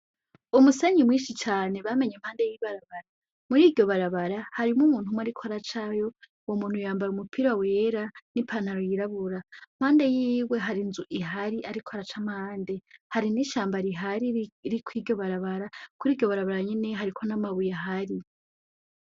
Umusenyi mwinshi cane bamenye impande y'ibarabara muri iryo barabara harimwo umuntu umwe ariko aracayo, uwo muntu yambaye umupira wera n'ipantalo y'irabura impande yiwe hari inzu ihari ariko araca mpande hari n'ishamba rihari riri kw' iryo barabara kuri iryo barabara nyene hariko n'amabuye ahari.